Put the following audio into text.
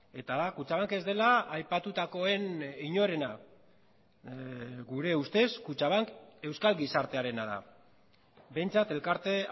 eta da kutxabank ez dela aipatutakoen inorena gure ustez kutxabank euskal gizartearena da behintzat elkarte